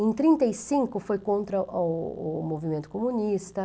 Em trinta e cinco, foi contra o o movimento comunista.